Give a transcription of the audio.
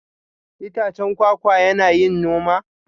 Itacen kwakwa yana yin noma?